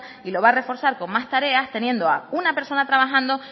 y lo va a reforzar con más tareas teniendo a una persona trabajando